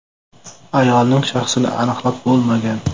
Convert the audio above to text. Ayolning shaxsini aniqlab bo‘lmagan.